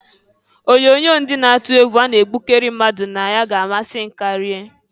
Onyoonyo ndị na-atụ egwu a na-egbukari mmadụ ga-amasị m ikiri.